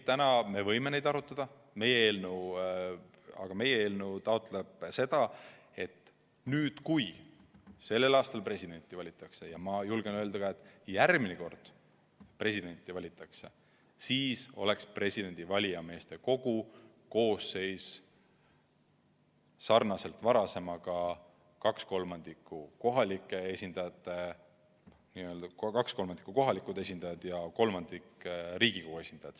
Täna me võime neid arutada, aga meie eelnõu taotleb seda, et nüüd, kui sellel aastal presidenti valitakse, ja ma julgen öelda ka, et järgmine kord, kui presidenti valitakse, siis oleks valijameeste kogu koosseis sarnane varasemaga: kaks kolmandikku kohalike omavalitsuste volikogude esindajaid ja üks kolmandik Riigikogu liikmeid.